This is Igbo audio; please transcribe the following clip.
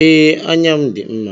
Ee, anya m dị mma.